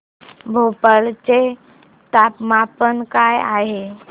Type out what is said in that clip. भोपाळ चे तापमान काय आहे